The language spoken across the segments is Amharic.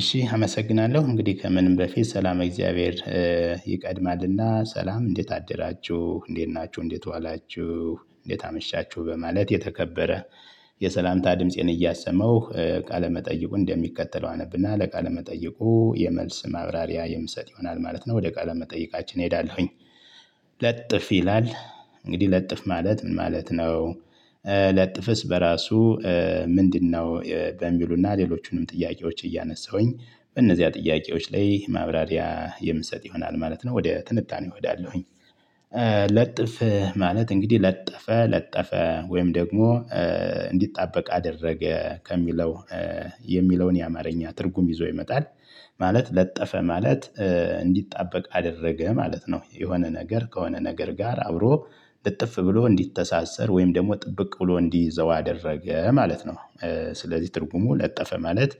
እሺ አመሰግናለሁ እንግዲህ ከምንም በፊት ሰላም እግዚአብሔር ይቀድማልና ሰላም እንዴት አደራችሁ እንዴት ናችሁ እንዴት ዋላችሁ እንዴት አመሻችሁ በማለት የተከበረ የሰላምታ ድምፄን እያሰመው ቃለ መጠይቁ እንደሚከተለው አነብና ለቃለ መጠይቁ የመልስ ማብራሪያ የምሰጥ ይሆናል ማለት ነው። ወደ ቃለ መጠይቃችን እሄዳለሁኝ። ለጥፍ ይላል እንግዲህ ለጥፍ ማለት ምን ማለት ነው? ለጥፍስ በራሱ ምንድነው? በሚሉና ሌሎቹንም ጥያቄዎች እያነሳሁኝ በእነዚያ ጥያቄዎች ላይ ማብራሪያ የምሰጥ ይሆናል ማለት ነው። ወደ ትንታኔ እሄዳለሁኝ። ለጥፍ ማለት እንግዲህ ለጠፈ ለጠፈ ወይም ደግሞ እንዲጣበቅ አደረገ ከሚለው የሚለውን የአማርኛ ትርጉም ይዞ ይመጣል ማለት ለጠፈ ማለት እንዲጣበቅ አደረገ ማለት ነው። የሆነ ነገር ከሆነ ነገር ጋር አብሮ ልጥፍ ብሎ እንዲተሳሰር ወይም ደግሞ ጥብቅ ብሎ እንዲዘው አደረገ ማለት ነው። ስለዚህ ትርጉሙ ለጠፈ ማለት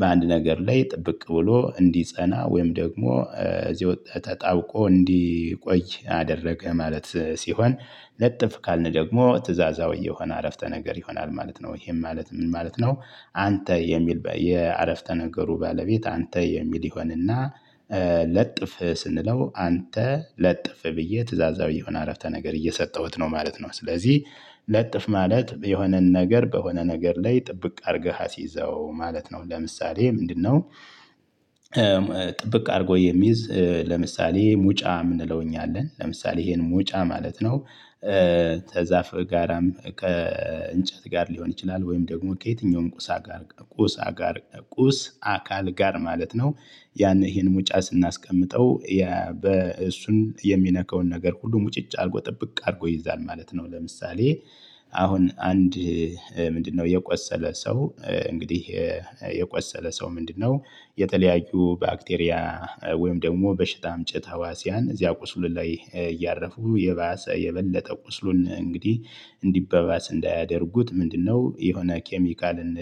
በአንድ ነገር ላይ ጥብቅ ብሎ እንዲጸና ወይም ደግሞ ዚዎ ታውቆ እንዲቆይ አደረገ ማለት ሲሆን ነጥፍ ካልነው ደግሞ ትእዛዛዊ የሆነ አረፍተ ነገር ይሆናል ማለት ነው። ይሄን ማለት ምን ማለት ነው? አንተ የሚል የአረፍተ ነገሩ ባለቤት አንተ የሚል ይሆንና ለጥፍ ስንለው አንተ ለጥፍ ብዬ ትእዛዛዊ የሆነ አረፍተ ነገር እየሰጠሁት ነው ማለት ነው። ስለዚህ ለጥፍ ማለት የሆነን ነገር በሆነ ነገር ላይ ጥብቅ አድርገህ አስይዘው ማለት ነው። ለምሳሌ ምንድነው? ጥብቅ አድርጎ የሚይዝ ለምሳሌ ሙጫ ምንለው እኛ አለን ለምሳሌ ይሄን ሙጫ ማለት ነው። ተዛፍ ጋራም ከእንጨት ጋር ሊሆን ይችላል ወይም ደግሞ ከየትኛውም ቁሳ ጋር ቁሳ ጋር ቁስ አካል ጋር ማለት ነው። ያን ይሄን ሙጫ ስናስቀምጠው በእሱን የሚነካውን ነገር ሁሉ ሙጭጭ አድርጎ ጥብቅ አድርጎ ይይዛል ማለት ነው። ለምሳሌ አሁን አንድ ምንድነው የቆሰለ ሰው እንግዲህ የቆሰለ ሰው ምንድነው የተለያዩ ባክቴሪያ ወይም ደግሞ በሽታ አምጭት ሀዋስያን እዚያ ቁስሉን ላይ እያረፉ የባሰ የበለጠ ቁስሉን እንግዲህ እንዲበባስ እንዳያደርጉት ምንድነው የሆነ ኬሚካልን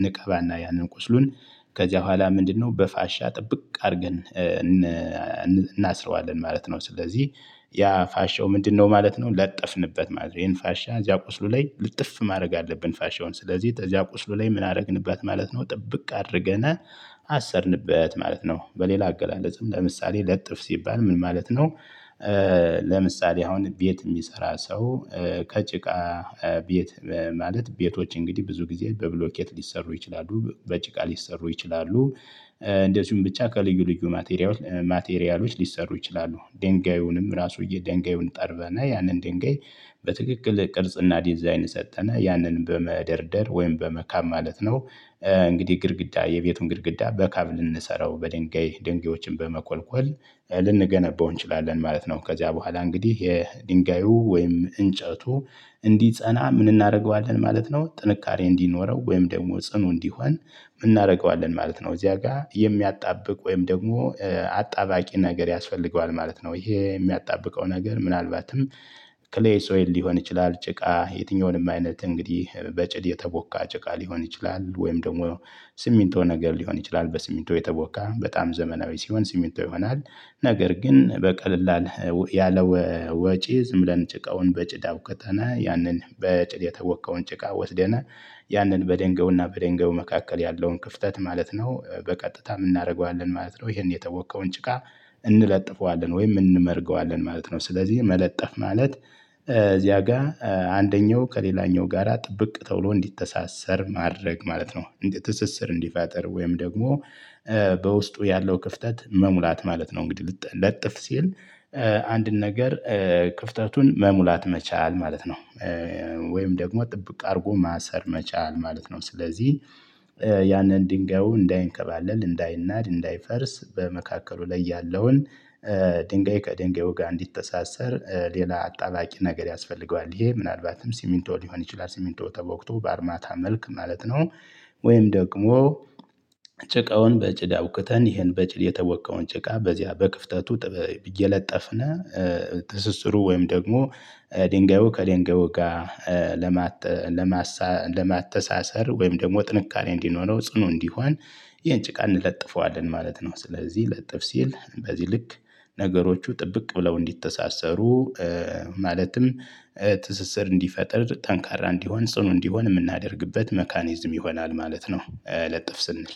እንቀባና ያንን ቁስሉን ከዚያ በኋላ ምንድነው በፋሻ ጥብቅ አድርገን እናስረዋለን ማለት ነው። ስለዚህ ያ ፋሻው ምንድነው ማለት ነው። ለጠፍንበት ማለት ነው ይሄን ፋሻ እዚያ ቁስሉ ላይ ልጥፍ ማድረግ አለብን ፋሼውን ስለዚህ እዚያ ቁስሉ ላይ ምን አደረግንባት ማለት ነው ጥብቅ አድርገናል አሰርንበት ማለት ነው። በሌላ አገላለጽም ለምሳሌ ለጥፍ ሲባል ምን ማለት ነው? ለምሳሌ አሁን ቤት የሚሰራ ሰው ከጭቃ ቤት ማለት ቤቶች እንግዲህ ብዙ ጊዜ በብሎኬት ሊሰሩ ይችላሉ በጭቃ ሊሰሩ ይችላሉ። እንደዚሁም ብቻ ከልዩ ልዩ ማቴሪያሎች ማቴሪያሎች ሊሰሩ ይችላሉ ድንጋዩንም ራሱ የድንጋዩን ጠርበና ያንን ድንጋይ በትክክል ቅርጽና ዲዛይን ሰጠነ ያንን በመደርደር ወይም በመካም ማለት ነው። እንግዲህ ግድግዳ የቤቱን ግድግዳ በካብ ልንሰራው በድንጋይ ድንጋዮችን በመቆልቆል ልንገነበው እንችላለን ማለት ነው። ከዚያ በኋላ እንግዲህ የድንጋዩ ወይም እንጨቱ እንዲጸና ምን እናደርገዋለን ማለት ነው። ጥንካሬ እንዲኖረው ወይም ደግሞ ጽኑ እንዲሆን እናደርገዋለን ማለት ነው። እዚያ ጋር የሚያጣብቅ ወይም ደግሞ አጣባቂ ነገር ያስፈልገዋል ማለት ነው። ይሄ የሚያጣብቀው ነገር ምናልባትም ክሌ ሶይል ሊሆን ይችላል ጭቃ የትኛውንም አይነት እንግዲህ በጭድ የተቦካ ጭቃ ሊሆን ይችላል ወይም ደግሞ ስሚንቶ ነገር ሊሆን ይችላል በስሚንቶ የተቦካ በጣም ዘመናዊ ሲሆን ስሚቶ ይሆናል። ነገር ግን በቀለል ያለ ወጪ ዝም ብለን ጭቃውን በጭድ አቡክተን ያንን በጭድ የተቦከውን ጭቃ ወስደና ያንን በደንገውና በደንገው መካከል ያለውን ክፍተት ማለት ነው በቀጥታ የምናደርገዋለን ማለት ነው። ይሄን የጠወቅከውን ጭቃ እንለጥፈዋለን ወይም እንመርገዋለን ማለት ነው። ስለዚህ መለጠፍ ማለት እዚያ ጋር አንደኛው ከሌላኛው ጋራ ጥብቅ ተብሎ እንዲተሳሰር ማድረግ ማለት ነው። ትስስር እንዲፋጥር ወይም ደግሞ በውስጡ ያለው ክፍተት መሙላት ማለት ነው። እንግዲህ ልጠ ለጥፍ ሲል አንድን ነገር ክፍተቱን መሙላት መቻል ማለት ነው። ወይም ደግሞ ጥብቅ አድርጎ ማሰር መቻል ማለት ነው። ስለዚህ ያንን ድንጋዩ እንዳይንከባለል እንዳይናድ እንዳይፈርስ በመካከሉ ላይ ያለውን ድንጋይ ከድንጋዩ ጋር እንዲተሳሰር ሌላ አጣባቂ ነገር ያስፈልገዋል ይሄ ምናልባትም ሲሚንቶ ሊሆን ይችላል ሲሚንቶ ተቦክቶ በአርማታ መልክ ማለት ነው። ወይም ደግሞ ጭቃውን በጭድ አቡክተን ይሄን በጭል የተወቀውን ጭቃ በዚያ በክፍተቱ እየለጠፍነው ትስስሩ ወይም ደግሞ ድንጋዩ ከድንጋዩ ጋር ለማተሳሰር ወይም ደግሞ ጥንካሬ እንዲኖረው ጽኑ እንዲሆን ይሄን ጭቃ እንለጥፈዋለን ማለት ነው። ስለዚህ ለጥፍ ሲል በዚህ ልክ ነገሮቹ ጥብቅ ብለው እንዲተሳሰሩ ማለትም ትስስር እንዲፈጥር ጠንካራ እንዲሆን ጽኑ እንዲሆን የምናደርግበት መካኒዝም ይሆናል ማለት ነው። ለጥፍ ስንል